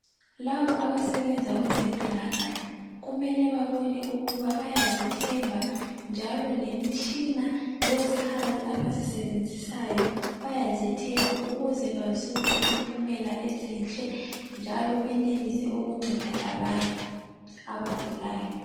Labo abasebenza kwezempilakahle kumele ukuba. babone ukuthi bayazithemba, njalo lemitshina, izikhali abazisebenzisayo, bayazithemba ukuze bazuze impumela ezinhle, njalo benelise ukunceda labanye abagulayo..